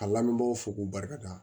A lamɛnbagaw fo k'u barika da